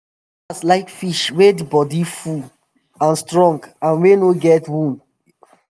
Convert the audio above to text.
customers like fish wey di bodi full and strong and wey no get wound. get wound.